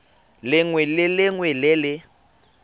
lengwe le lengwe le le